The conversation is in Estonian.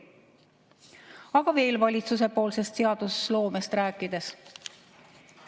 Aga veel valitsuse seadusloomest rääkides.